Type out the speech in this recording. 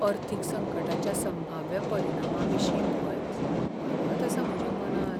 अर्थीक संकटाच्या संभाव्य परिणामाविशीं भंय वाडत आसा म्हज्या मनांत.